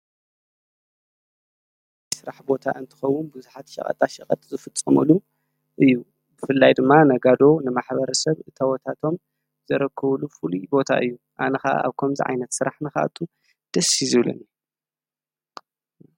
ስራሕ ቦታ እንትኸውን ብዙሓት ሸቐጣሸቐጥ ዝፍፀመሉ እዩ፡፡ ብፍላይ ድማ ነጋዶ ንማ/ሰብ እታወታቶም ዘረክብሉ ፍሉይ ቦታ እዩ፡፡ ኣነ ከኣ ኣብ ከምዚ ዓይነት ስራሕ ንኽኣቱ ደስ እዩ ዝብለኒ